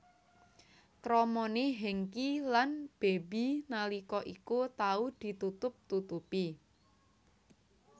Kramane Hengky lan Baby nalika iku tau ditutup tutupi